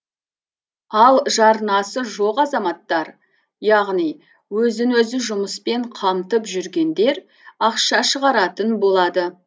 ал жарнасы жоқ азаматтар яғни өзін өзі жұмыспен қамтып жүргендер ақша шығаратын болады